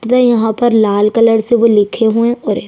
त्र यहाँ पर लाल कलर से लिखे हुए और ये --